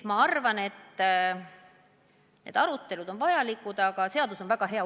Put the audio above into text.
Ma arvan, et arutelud on vajalikud, aga seadus on väga hea.